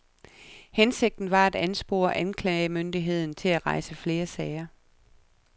Hensigten var at anspore anklagemyndigheden til at rejse flere sager.